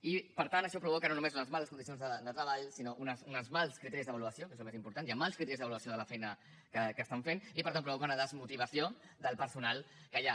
i per tant això provoca no només unes males condicions de treball sinó uns mals criteris d’avaluació que és el més important hi ha mals criteris d’avaluació de la feina que estan fent i per tant provoca una desmotivació del personal que hi ha